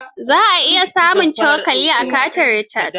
Za ka iya samun cokali a kantin Richard.